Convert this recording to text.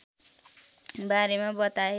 बारेमा बताए